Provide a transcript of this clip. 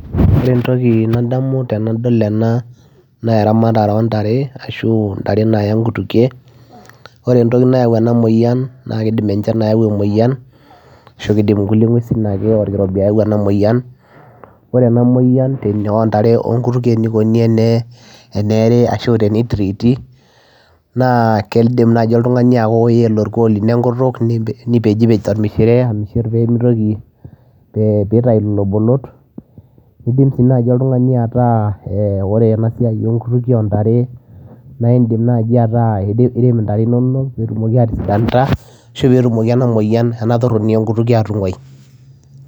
Oree entokii nadamuu tenadol enaa naa eramatare oo ntare nayaa nkutukie oree entokii nayau ena moyian naa keyau enchan oree enaa moyian enekonii tenebakii naa idim ayelaa orkuo lino enkutuk nipej tolmishire peyiee itayuu irbolot nirem sii itare inonok peyiee etumokii aatisidanita peyiee inguaa entoronii oo nkutukie